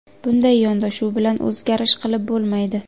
Bunday yondashuv bilan o‘zgarish qilib bo‘lmaydi.